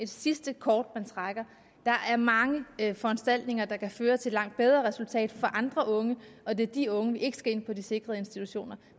sidste kort man trækker der er mange foranstaltninger der kan føre til langt bedre resultater for andre unge og det er de unge vi ikke skal have ind på de sikrede institutioner